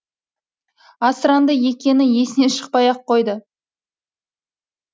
асыранды екені есінен шықпай ақ қойды